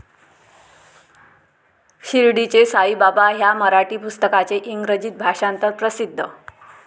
शिर्डीचे साईबाबा ह्या मराठी पुस्तकाचे इंग्रजीत भाषांतर प्रसिद्ध.